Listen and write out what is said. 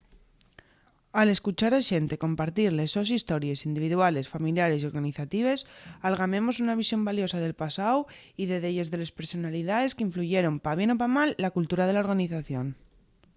al escuchar a xente compartir les sos histories individuales familiares y organizatives algamemos una visión valiosa del pasáu y de delles de les personalidaes qu’influyeron pa bien o pa mal la cultura de la organización